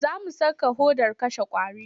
Za mu saka hodar kashe ƙwari.